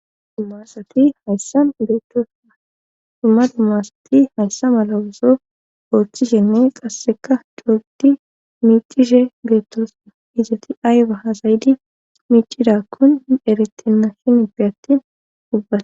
dumasati hayssa beettoosua dumma dumma assati hayssa malawoso ooththishenne qasseka dogdi miicishe beettosna izzati aayba hasayidi miicidakkun erettinna shinippe attin dubbata